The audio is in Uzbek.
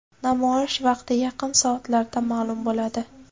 Namoyish vaqti yaqin soatlarda ma’lum bo‘ladi.